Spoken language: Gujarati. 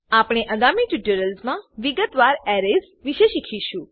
આપણે આગામી ટ્યુટોરિયલ્સમા વિગતવાર એરેઝ વિષે શીખીશું